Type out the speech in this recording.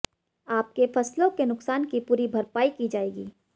आपके फसलों के नुकसान की पूरी भरपाई की जायेगी